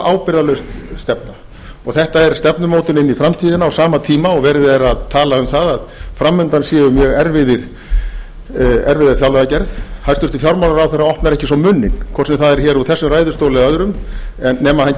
ábyrgðarlaus stefna og þetta er stefnumótun inn í framtíðina á sama tíma og verið er að tala um það að fram undan sé mjög erfið fjárlagagerð hæstvirtur fjármálaráðherra opnar ekki svo munninn hvort sem það er úr þessum ræðustóli eða öðrum nema hann